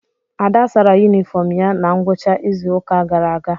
Ada sara yunifọọm ya na ngwụcha izu ụka gara aga.